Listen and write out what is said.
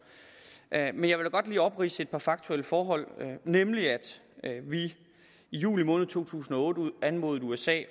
men jeg godt lige opridse et par faktuelle forhold nemlig at vi i juli måned to tusind og otte anmodede usa